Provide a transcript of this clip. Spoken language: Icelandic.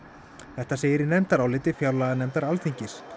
þetta segir í nefndaráliti fjárlaganefndar Alþingis